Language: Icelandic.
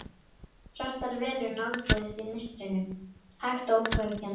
Svartar verur nálguðust í mistrinu, hægt og ógnvekjandi.